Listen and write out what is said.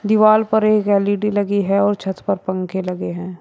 दीवार पर एक एल_इ_डी लगी है और छत पर पंखे लगे हैं।